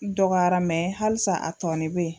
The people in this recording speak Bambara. N dɔgɔyara halisa a tɔɔni bɛ yen.